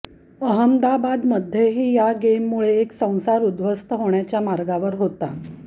अहमदाबादमध्येही या गेममुळे एक संसार उद्ध्वस्त होण्याच्या मार्गावर होता